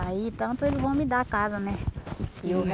Aí tanto eles vão me dar a casa, né? E eu